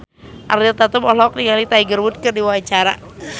Ariel Tatum olohok ningali Tiger Wood keur diwawancara